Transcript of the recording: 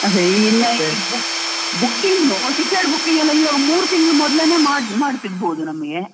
ಅದೇ ಇನ್ ಈ book book ನ್ನು ticket book ಗೆಲ್ಲಾ ಈಗ ಮೂರ್ ತಿಂಗ್ಳು ಮೊದ್ಲೆನೇ ಮಾಡ್~ ಮಾಡ್ತಿರ್ಬೋದು ನಮ್ಗೆ.